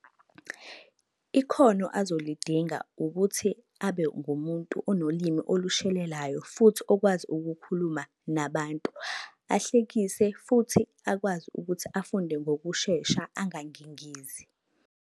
Ikhono azolidinga ukuthi abe ngumuntu onolimu olushelelayo, futhi okwazi ukukhuluma nabantu. Ahlekise futhi akwazi ukuthi afunde ngokushesha angangingizi.